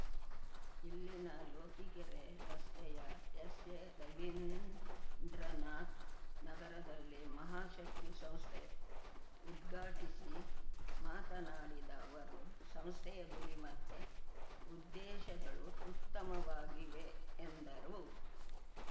ಇಲ್ಲಿನ ಲೋಕಿಕೆರೆ ರಸ್ತೆಯ ಎಸ್‌ಎ ರವೀಂದ್ರನಾಥ್ ನಗರದಲ್ಲಿ ಮಹಾಶಕ್ತಿ ಸಂಸ್ಥೆ ಉದ್ಘಾಟಿಸಿ ಮಾತನಾಡಿದ ಅವರು ಸಂಸ್ಥೆಯ ಗುರಿ ಮತ್ತೆ ಉದ್ದೇಶಗಳು ಉತ್ತಮವಾಗಿವೆ ಎಂದರು